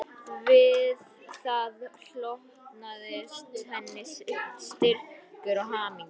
Við það hlotnaðist henni styrkur og hamingja